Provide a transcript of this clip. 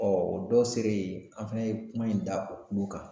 o dɔw selen an fɛnɛ ye kuma in da o kulu kan.